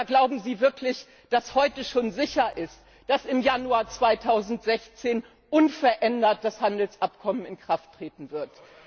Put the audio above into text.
Oder glauben Sie wirklich, dass heute schon sicher ist, dass im Januar 2016 unverändert das Handelsabkommen in Kraft treten wird?